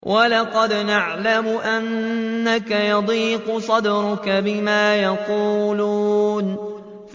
وَلَقَدْ نَعْلَمُ أَنَّكَ يَضِيقُ صَدْرُكَ بِمَا يَقُولُونَ